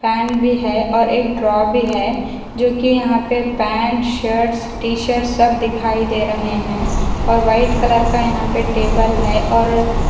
fan भी है ओर एक ड्रॉर भी है जो की यहां पे पैंट शर्टस टी शर्टस सब दिखाई दे रहे हैं और व्हाइट कलर का यहां पे टेबल है और--